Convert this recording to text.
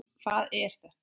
Hvað er þetta!